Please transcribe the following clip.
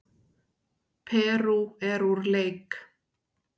Perú úr leik